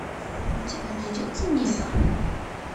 у тебя найдется небо